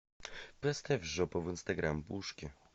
поставь жопа в инстаграм пушки